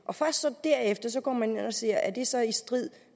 og først derefter går man ind og ser på om det så er i strid